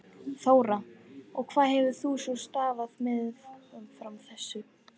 Þóra: Og hvað hefur þú svona starfað meðfram þessu?